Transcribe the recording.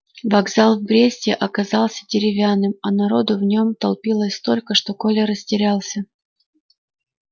вокзал в бресте оказался деревянным а народу в нем толпилось столько что коля растерялся